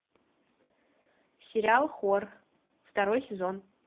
сериал хор второй сезон